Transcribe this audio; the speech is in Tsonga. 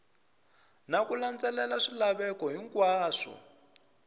na ku landzelela swilaveko hinkwaswo